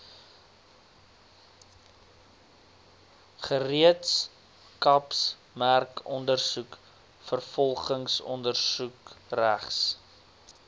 gereedskapsmerkondersoek vervolgingsondersoek regs